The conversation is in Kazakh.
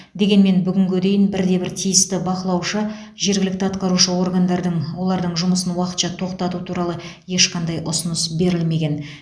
дегенмен бүгінге дейін бірде бір тиісті бақылаушы жергілікті атқарушы органдардан олардың жұмысын уақытша тоқтату туралы ешқандай ұсыныс берілмеген